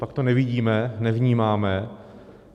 Copak to nevidíme, nevnímáme?